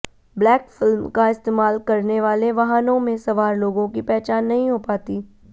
black film का इस्तेमाल करने वाले वाहनों में सवार लोगों की पहचान नहीं हो पाती